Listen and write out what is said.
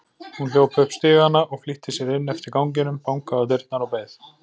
Hún hljóp upp stigana og flýtti sér inn eftir ganginum, bankaði á dyrnar og beið.